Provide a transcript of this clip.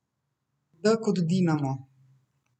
D kot Dinamo.